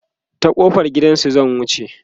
ta kofar gidansu zan wuce